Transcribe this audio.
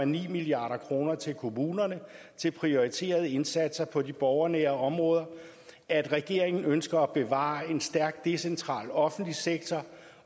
milliard kroner til kommunerne til prioriterede indsatser på de borgernære områder at regeringen ønsker at bevare en stærk decentral offentlig sektor